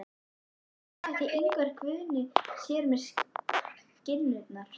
En hvað ætlar Ingvar Guðni sér með skinnurnar?